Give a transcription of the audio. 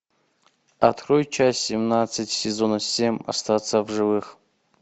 открой часть семнадцать сезона семь остаться в живых